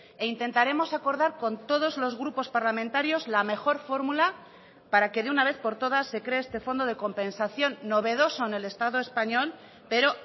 e intentaremos acordar con todos los grupos parlamentarios la mejor fórmula para que de una vez por todas se cree este fondo de compensación novedoso en el estado español pero